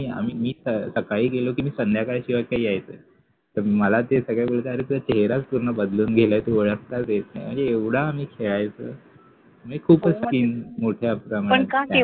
मी सकाळी गेलो कि मी संध्याकाळ शिवाय काय यायचो नाय तर मला ते सगळे बोलायचे का अरे तुझा चेहराच पूर्ण बदलून गेलाय कि ओळखता येत नाय म्हणजे एवढा आम्ही खेळायचो म्हणजे खूपच skin मोठ्या प्रमाणात